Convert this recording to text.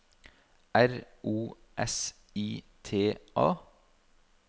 R O S I T A